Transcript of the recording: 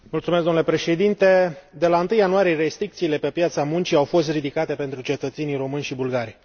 Domnule președinte, de la întâi ianuarie restricțiile pe piața muncii au fost ridicate pentru cetățenii români și bulgari.